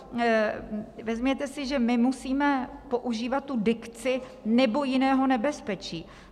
Vezměte si, že my musíme používat tu dikci "nebo jiného nebezpečí".